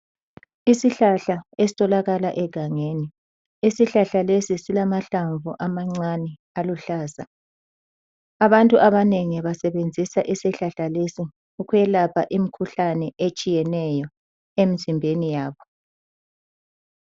Isihlahla esitholakala egangeni. Isihlahla lesi silamahlamvu amancane aluhlaza. Abantu abanengi basebenzisa isihlahla leso ukwelapha imikhuhlane etshiyeneyo emzimbeni yabo.